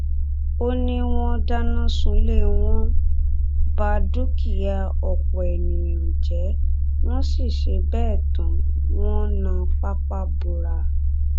ó ní wọn dáná sunlé wọn bá dúkìá ọpọ èèyàn jẹ wọn sì ṣe bẹẹ tán wọn na pápá bora